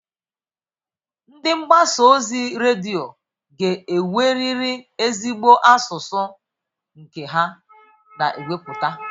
Ndị mgbasa ozi redio ga-enwerịrị ezigbo asụsụ nke ha na-ewepụta.